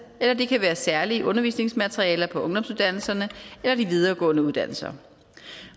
eller det kan være særlige undervisningsmaterialer på ungdomsuddannelserne eller de videregående uddannelser